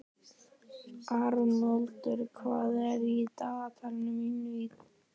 Arnoddur, hvað er í dagatalinu mínu í dag?